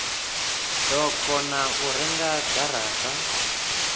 do kona u renga garata